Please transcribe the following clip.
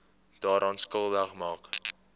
daaraan skuldig maak